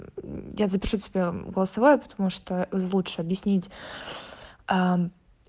я запишу тебя голосовое потому что лучше объяснить